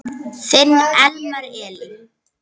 Þinn Elmar Elí.